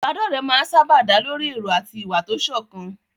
Ìbádọ́rẹ̀ẹ́ máa ń sáábà dá lórí èrò àti ìwà tó sọ̀kan.